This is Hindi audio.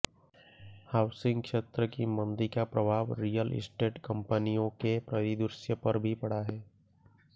हाउसिंग क्षेत्र की मंदी का प्रभाव रियल एस्टेट कंपनियों के परिदृश्य पर भी पड़ा है